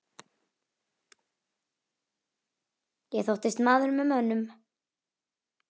Ég þóttist maður með mönnum.